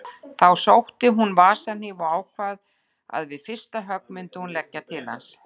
Þá sótti hún vasahníf og ákvað að við fyrsta högg myndi hún leggja til hans.